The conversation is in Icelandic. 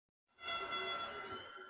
Grafarholti og aðferðir hans gefist vel.